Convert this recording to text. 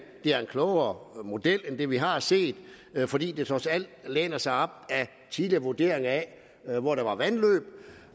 det er en klogere model end den vi har set fordi den trods alt læner sig op af tidligere vurderinger af hvor der